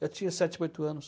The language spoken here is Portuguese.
Eu tinha sete, oito anos.